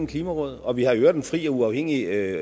klimaråd og vi har i øvrigt en fri og uafhængig